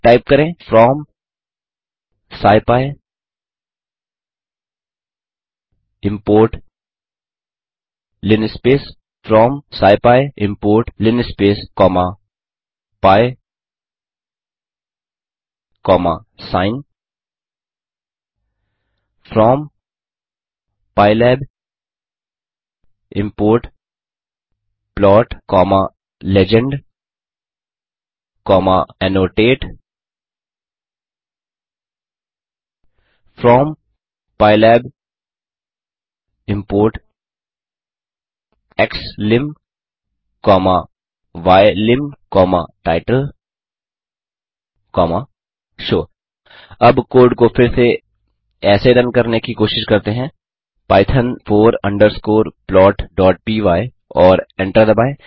type करें from scipy import linspace from scipy import linspace comma pi comma sin from pylab import plot comma legend comma annotate from pylab import xlim comma ylim comma title comma show अब code को फिर से ऐसे run करने की कोशिश करते हैं पाइथॉन फोर अंडरस्कोर plotपाय और एंटर दबाएँ